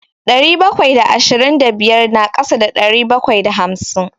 Ɗari bakwai da ashirin da biyar na ƙasa da ɗari bakwai da hamsin.